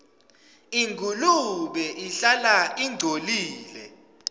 ingulube ihlala ingcolile